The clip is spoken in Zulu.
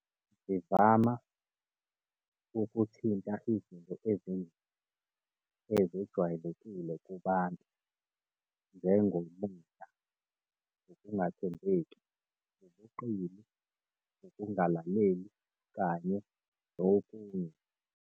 Zivama utkuthinta izinto nje ezejwayelekile kubantu njengomon, ukungathemebeki, ubuqili, ukungalaleli kanye nokunye.